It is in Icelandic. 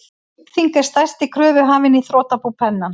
Kaupþing er stærsti kröfuhafinn í þrotabú Pennans.